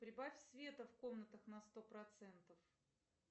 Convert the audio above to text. прибавь света в комнатах на сто процентов